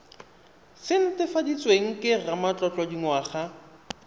se netefaditsweng ke ramatlotlo dingwaga